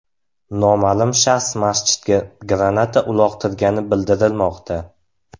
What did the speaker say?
Noma’lum shaxs masjidga granata uloqtirgani bildirilmoqda.